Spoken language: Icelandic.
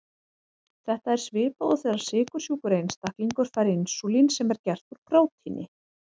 Þetta er svipað og þegar sykursjúkur einstaklingur fær insúlín sem er gert úr prótíni.